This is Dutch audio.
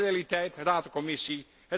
Dat is de realiteit, Raad en Commissie.